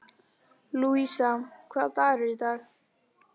Lúísa, hvaða dagur er í dag?